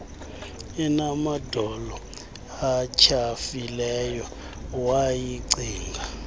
enamadolo atyhafileyo wayicinga